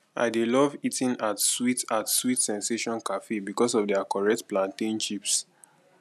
i dey love eating at sweet at sweet sensation cafe because of their correct plantain chips